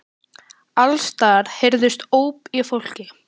Alls staðar heyrðust ópin í fólki.